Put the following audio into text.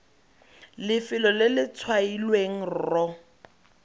lefelo le le tshwailweng rro